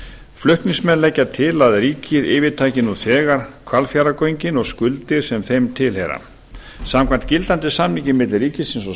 flutningsmenn leggja til að ríkið yfirtaki nú þegar hvalfjarðargöngin og skuldir sem þeim tilheyra samkvæmt gildandi samningi milli ríkisins og